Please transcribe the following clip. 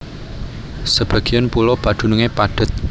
Sebagéyan pulo padunungé padhet